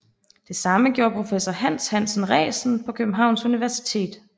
Det samme gjorde professor Hans Hansen Resen på Københavns Universitet